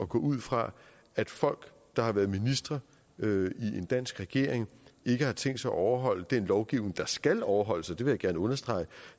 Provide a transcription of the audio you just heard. gå ud fra at folk der har været ministre i en dansk regering ikke har tænkt sig at overholde den lovgivning der skal overholdes og det vil jeg gerne understrege